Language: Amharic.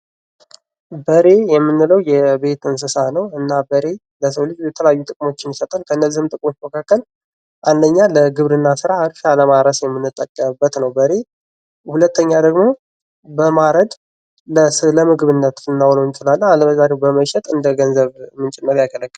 በሬ የምንለው የቤት እንሣ ነው እና በሬ ለሰው ልጅ የተለያዩ ጥቅሞችን ይሰጣል ከነዚህም ጥቅሞች መካከል አንደኛው ለግብርና ስራ እርሻ ለማረስ የምንጠቀምበት ነው። ሁለተኛ ደግሞ በማረድ ለምግብነት ልናውለው እንችላለን አለበለዚያ ደግሞ በማረድ እንደ ገንዘብ ምንጭ በመሆንያገለግለናል።